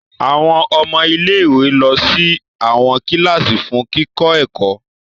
Awọn ọmọ ilé-ìwé lọ sí awọn kilasi fún kikọ ẹkọ